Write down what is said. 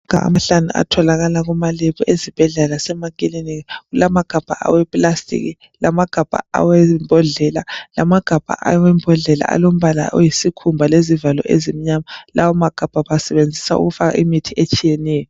Atholakala kuma lebhu ezibhedlela lasemaklinika kutholakala agabha awe plastic lamagabha awembodlela lamagabha alombala wesikhumba lezivalo ezimnyama layo magabha bawasebenzisa ukufaka imithi etshiyeneyo